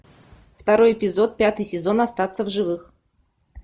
второй эпизод пятый сезон остаться в живых